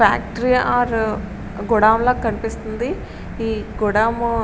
Factory or godown లా కనిపిస్తుంది. ఈ గోడాము --